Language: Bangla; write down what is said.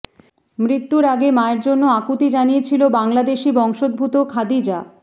মৃত্যুর আগে মায়ের জন্য আকুতি জানিয়েছিল বাংলাদেশি বংশোদ্ভূত খাদিজা